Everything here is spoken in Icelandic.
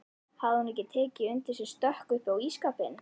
Hafði hún ekki tekið undir sig stökk upp á ísskápinn!